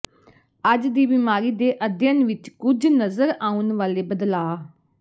ਅੱਜ ਦੀ ਬਿਮਾਰੀ ਦੇ ਅਧਿਐਨ ਵਿਚ ਕੁਝ ਨਜ਼ਰ ਆਉਣ ਵਾਲੇ ਬਦਲਾਅ